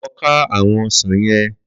Lọ ka àwọn ọsàn yẹn